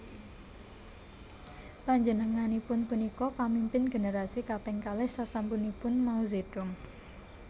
Panjenenganipun punika pamimpin generasi kaping kalih sasampunipun Mao Zedong